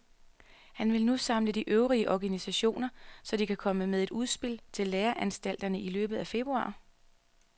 Han vil nu samle de øvrige organisationer, så de kan komme med et udspil til læreanstalterne i løbet af februar.